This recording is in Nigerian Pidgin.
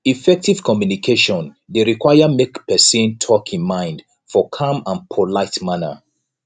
effective communication de require make person talk in mind for calm and polite manner